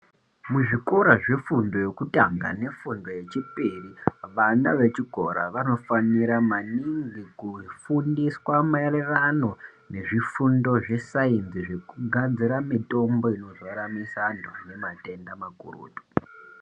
Muzvikora zvefundo yekutanga nefundo yechipiri vana vechikora vanofanira maningi kufundiswa maererano nezvifundo zvesainzi nekugadzira mitombo inoraramisa anhu ane matenda makurutu .